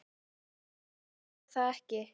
Nei reyndar gerði ég það ekki.